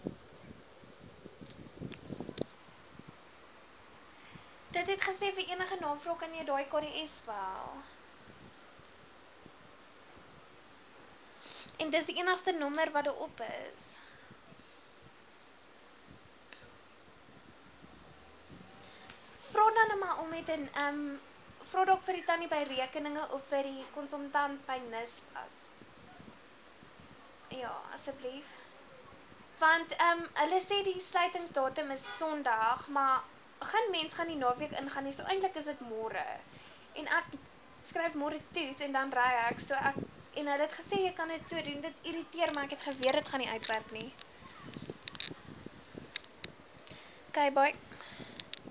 medisyne eise intyds